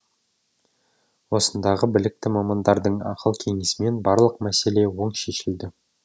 осындағы білікті мамандардың ақыл кеңесімен барлық мәселе оң шешілді